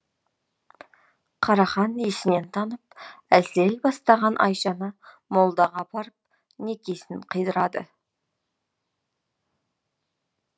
қарахан есінен танып әлсірей бастаған айшаны молдаға апарып некесін қидырады